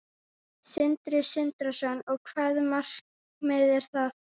Sindri Sindrason: Og hvaða markmið er það?